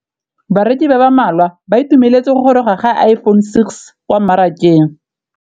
Bareki ba ba malwa ba ituemeletse go gôrôga ga Iphone6 kwa mmarakeng.